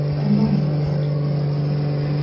ondan da evi tərk etməyi tələb etdi.